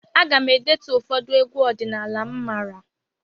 Aga m e detu ụfọdụ egwu ọdịnala m maara.